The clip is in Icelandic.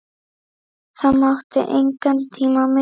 Það mátti engan tíma missa.